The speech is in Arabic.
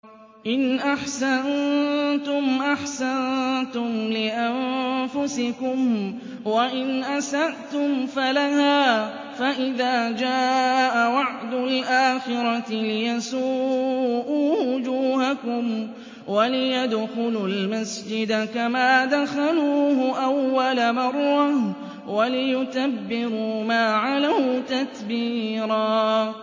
إِنْ أَحْسَنتُمْ أَحْسَنتُمْ لِأَنفُسِكُمْ ۖ وَإِنْ أَسَأْتُمْ فَلَهَا ۚ فَإِذَا جَاءَ وَعْدُ الْآخِرَةِ لِيَسُوءُوا وُجُوهَكُمْ وَلِيَدْخُلُوا الْمَسْجِدَ كَمَا دَخَلُوهُ أَوَّلَ مَرَّةٍ وَلِيُتَبِّرُوا مَا عَلَوْا تَتْبِيرًا